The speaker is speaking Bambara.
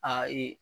Aa ee